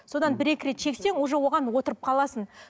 содан бір екі рет шексең уже оған отырып қаласың